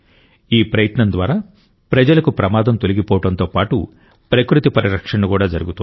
ఈ ప్రయత్నం ద్వారా ప్రజలకు ప్రమాదం తొలగి పోవడంతో పాటు ప్రకృతి పరిరక్షణ కూడా జరుగుతోంది